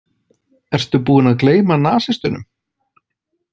Ertu búinn að gleyma nasistunum?